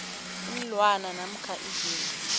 iinlwana namkha izinto